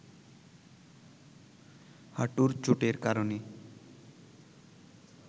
হাটুর চোটের কারণে